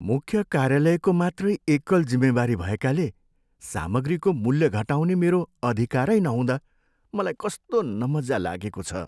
मुख्य कार्यालयको मात्रै एकल जिम्मेवारी भएकाले सामग्रीको मूल्य घटाउने मेरो अधिकारै नहुँदा मलाई कस्तो नमज्जा लागेको छ।